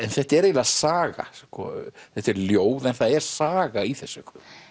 þetta er eiginlega saga þetta eru ljóð en það er saga í þessu